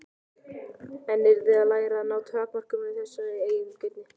Hann yrði að læra að ná tökum á þessari eigingirni.